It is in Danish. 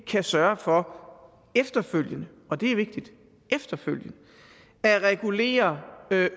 kan sørge for efterfølgende og det er vigtigt efterfølgende at regulere